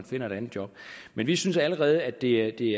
finder et andet job men vi synes allerede at det